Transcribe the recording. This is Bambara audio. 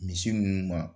Misi ninnu ma